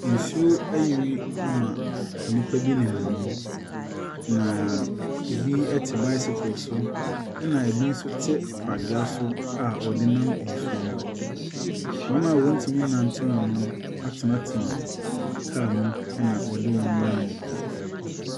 Nsuo ayiri ama nnipa bi nenam mu. Naaa ɛbi te bicycle so, ɛna ɛbi nso te pragea so a wɔde nam nsuo no mu. Wɔn a wɔntumi nnante mu no atenatena car mu, ɛna ɔde wɔn nam mu.